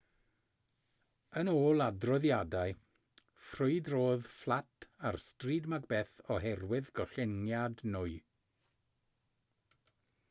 yn ôl adroddiadau ffrwydrodd fflat ar stryd macbeth oherwydd gollyngiad nwy